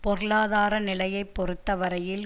பொருளாதார நிலையை பொறுத்த வரையில்